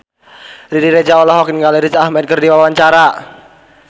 Riri Reza olohok ningali Riz Ahmed keur diwawancara